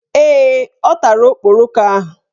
Ee, ọ tara okporoko ahụ